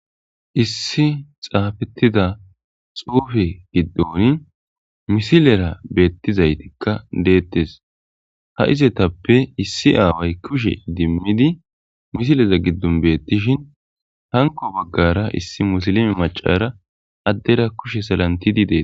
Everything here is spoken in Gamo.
issi xaafettida xuufe giddon misilera beettizaytikka deettes ha izetappe issi aaway kushe dimmidi misileza giddon beettishin hanko baggara issi musilime macara addera kushe salantidi dees